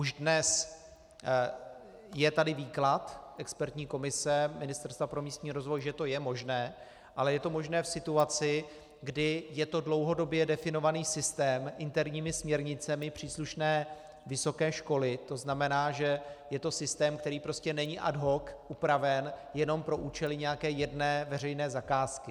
Už dnes je tady výklad expertní komise Ministerstva pro místní rozvoj, že to je možné, ale je to možné v situaci, kdy je to dlouhodobě definovaný systém interními směrnicemi příslušné vysoké školy, to znamená, že je to systém, který prostě není ad hoc upraven jenom pro účely nějaké jedné veřejné zakázky.